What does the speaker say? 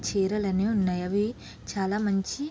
చేరాలనేవి ఉన్నాయ్ అవి చాల మంచి--